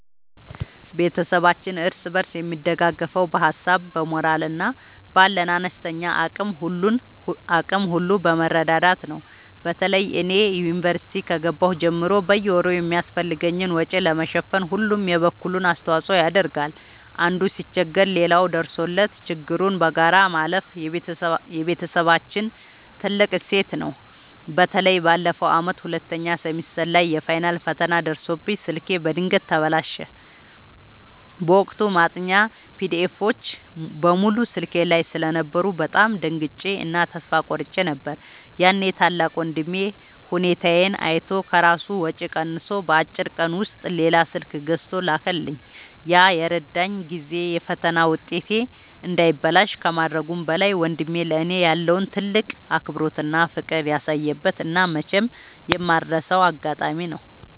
ቤተሰባችን እርስ በርስ የሚደጋገፈው በሀሳብ፣ በሞራል እና ባለን አነስተኛ አቅም ሁሉ በመረዳዳት ነው። በተለይ እኔ ዩኒቨርሲቲ ከገባሁ ጀምሮ በየወሩ የሚያስፈልገኝን ወጪ ለመሸፈን ሁሉም የበኩሉን አስተዋጽኦ ያደርጋል። አንዱ ሲቸገር ሌላው ደርሶለት ችግሩን በጋራ ማለፍ የቤተሰባችን ትልቅ እሴት ነው። በተለይ ባለፈው ዓመት ሁለተኛ ሴሚስተር ላይ የፋይናል ፈተና ደርሶብኝ ስልኬ በድንገት ተበላሸ። በወቅቱ ማጥኛ ፒዲኤፎች (PDFs) በሙሉ ስልኬ ላይ ስለነበሩ በጣም ደንግጬ እና ተስፋ ቆርጬ ነበር። ያኔ ታላቅ ወንድሜ ሁኔታዬን አይቶ ከራሱ ወጪ ቀንሶ በአጭር ቀን ውስጥ ሌላ ስልክ ገዝቶ ላከልኝ። ያ የረዳኝ ጊዜ የፈተና ውጤቴ እንዳይበላሽ ከማድረጉም በላይ፣ ወንድሜ ለእኔ ያለውን ትልቅ አክብሮትና ፍቅር ያሳየበት እና መቼም የማልረሳው አጋጣሚ ነው።